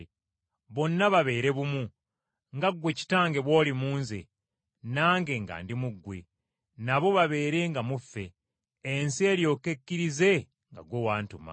bonna babeere bumu, nga ggwe Kitange bw’oli mu Nze, nange nga ndi mu ggwe, nabo babeerenga mu ffe, ensi eryoke ekkirize nga ggwe wantuma.